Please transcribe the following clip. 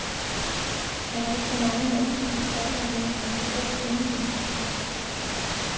Er der ikke for mange mandlige forfattere med og for få kvindelige?